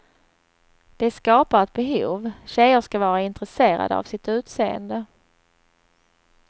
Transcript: De skapar ett behov, tjejer ska vara intresserade av sitt utseende.